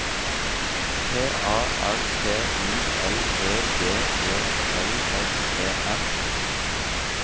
P A R T I L E D E L S E N